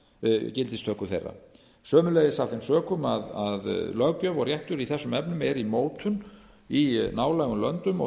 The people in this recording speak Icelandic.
frá gildistöku þeirra sömuleiðis af þeim sökum að löggjöf og réttur í þessum efnum er í mótun í nálægum löndum og